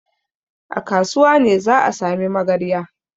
A kasuwa ne za a sami magarya.